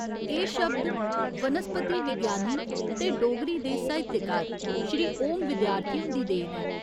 एह् शब्द वनस्पति विज्ञानी ते डोगरी दे साहित्यकार श्री ओम विद्यार्थी हुंदी देन ऐ।